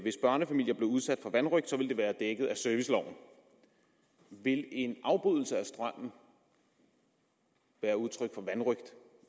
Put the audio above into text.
hvis børnefamilier blev udsat for vanrøgt ville det være dækket af serviceloven vil en afbrydelse af strømmen være udtryk for vanrøgt